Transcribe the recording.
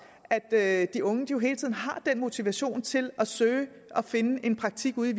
at de unge hele tiden har den motivation til at søge og finde en praktikplads